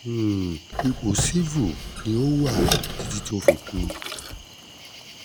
um ipò civil ni o wà titi ti o fi kú